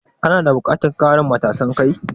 Kana buƙatan ƙarin matasan kai?